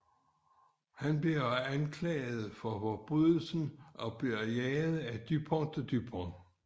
Han bliver anklaget for forbrydelsen og bliver jaget af Dupond og Dupont